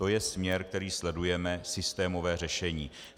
To je směr, který sledujeme, systémové řešení.